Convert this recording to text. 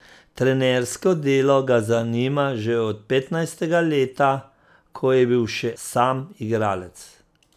Trenersko delo ga zanima že od petnajstega leta, ko je bil še sam igralec.